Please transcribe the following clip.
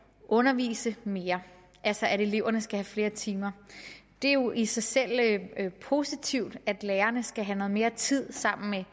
undervise mere altså at eleverne skal have flere timer det er jo i sig selv positivt at lærerne skal have noget mere tid sammen med